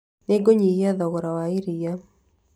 Nĩ ngũnyihia thogora wa iria